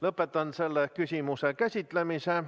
Lõpetan selle küsimuse käsitlemise.